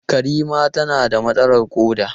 Karima tana da matsalar koda.